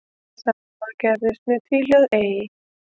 Sama gerðist með tvíhljóðið ey.